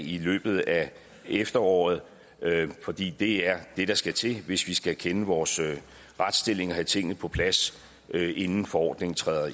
i løbet af efteråret fordi det er det der skal til hvis vi skal kende vores retsstilling og have tingene på plads inden forordningen træder